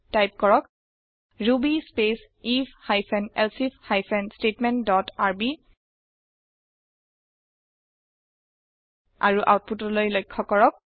type কৰক ruby space IF hyphen elsif hyphen statement dot RB আৰু আওতপুতলৈ লক্ষয় কৰক